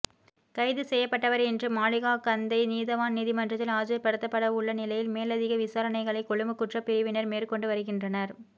கைது செய்யப்பட்டவர் இன்று மாளிகாகந்தை நீதவான் நீதிமன்றத்தில் ஆஜர்படுத்தப்படவுள்ள நிலையில் மேலதிக விசாரணைகளை கொழும்பு குற்றப் பிரிவினர் மேற்கொண்டு வருகின்றனர்